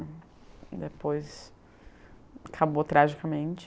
E depois... Acabou tragicamente.